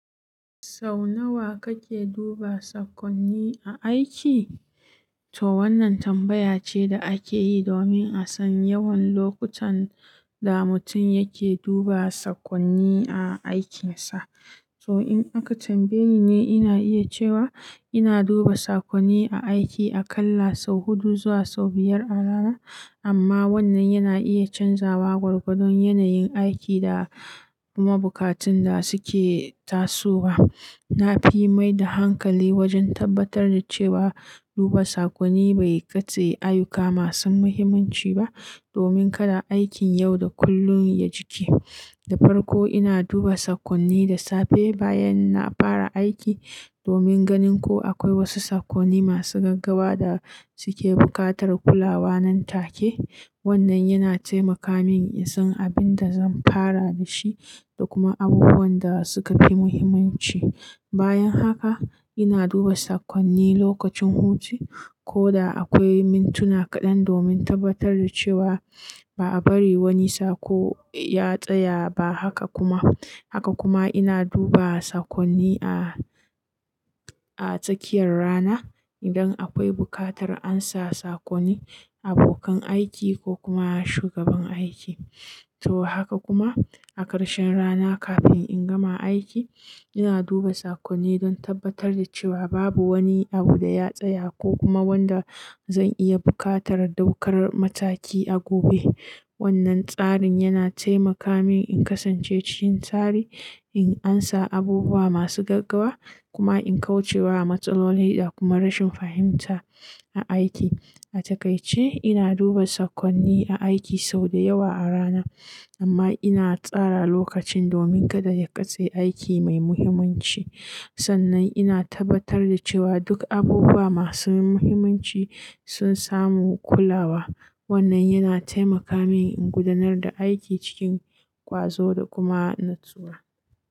Sau nawa kake duba sakonni a aiki? To wannan tambaya ce da ake yi domin a san yawan lokutan da mutum yake duba sakonni a aikinsa. To in aka tambaye ni, ina iya cewa ina duba sakonni a aiki aƙalla sau huɗu zuwa sau biyar a rana, amma wannan yana iya canzawa gwargwadon yanayin aiki da kuma bukatun da suke tasowa. Na fi mai da hankali wajen tabbatar da cewa duba sakonni bai katse ayyuka masu muhimmanci ba domin kada aikin yau da kullum ya cike. Da farko, ina duba sakonni da safe bayan na fara aiki domin ganin ko akwai wasu sakonni masu gaggawa da suke buƙatar kulawa nan take. Wannan yana taimaka min in san abin da zan fara da shi da kuma abubuwan da suka fi muhimmanci. Bayan haka, ina duba sakonni lokacin hutu, koda akwai mintuna kaɗan domin tabbatar da cewa ba a bari wani sako ya tsaya ba. Haka kuma, ina duba sakonni a tsakiyar rana idan akwai buƙatar an sa sakonni abokan aiki ko kuma shugaban aiki. To haka kuma a ƙarshen rana kafin in gama aiki, ina duba sakonni don tabbatar da cewa babu wani abu da ya tsaya ko kuma wanda zan iya buƙatar ɗaukar mataki a gobe. Wannan tsarin yana taimaka min in kasance cikin tsari, in ansa abubuwa masu gaggawa, kuma in kauce wa matsaloli da kuma rashin fahimta a aiki. A takaice, ina duba sakonni a aiki sau da yawa a rana, amma ina tsara lokacin domin kada ya katse aiki mai muhimmanci. Sannan ina tabbatar da cewa duk abubuwa masu muhimmanci sun samu kulawa. Wannan yana taimaka min in gudanar da aiki cikin ƙwazo da kuma natsuwa.